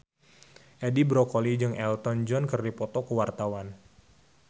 Edi Brokoli jeung Elton John keur dipoto ku wartawan